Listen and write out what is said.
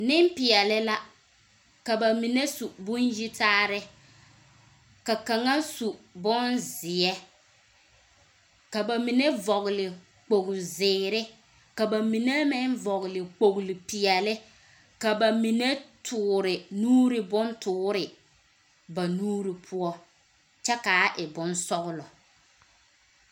Nempeɛle la. Ka mine su bon-yitaare, ka kaŋa su bonzeɛ, ka ba mine vɔgele kpogli-zeere ka ba mine meŋ vɔgele kpogli-peɛle ka ba mine toore nuuri bontoore ba nuuri poɔ. Kyɛ kaa e bonsɔglɔ.